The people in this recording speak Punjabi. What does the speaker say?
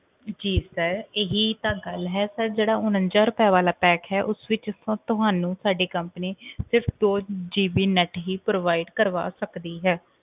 ਜੀ sir ਇਹੀ ਤਾਂ ਗੱਲ ਹੈ sir ਜਿਹੜਾ ਉਣੰਜਾ ਰੁਪਏ ਵਾਲਾ pack ਹੈ ਉਸ ਵਿੱਚ ਤਾਂ ਤੁਹਾਨੂੰ ਸਾਡੀ company ਸਿਰਫ ਦੋ GB net ਹੀ provide ਕਰਵਾ ਸਕਦੀ ਹੈ